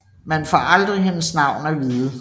Man får aldrig hendes navn at vide